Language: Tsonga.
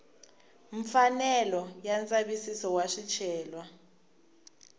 mfanelo ya ndzavisiso wa swicelwa